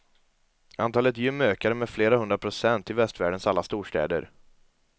Antalet gym ökade med flera hundra procent i västvärldens alla storstäder.